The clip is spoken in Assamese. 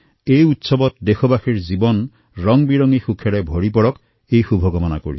এই পৰ্ব আমাৰ দেশবাসীৰ জীৱনৰ ৰংবিৰঙী সুখীৰে পৰিপূৰ্ণ হৈ থাককএয়াই শুভকামনা